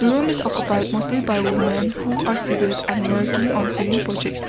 room is occupied mostly by women who are see that and working in same projects